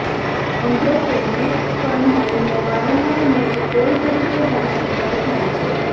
નોંધો કે મેક કંહાઇલનો વારંવાર મેક કોલ તરીકે ભાષાંતર થાય છે